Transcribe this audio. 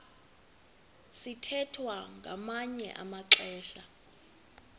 sithwethwa ngamanye amaxesha